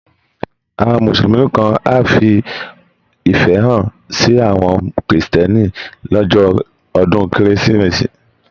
Àwọn Mùsùlùmí kan á fi ìfẹ́ hàn sí àwọn Kírísítẹ́nì lọ́jọ́ ọdún Kérésìmesì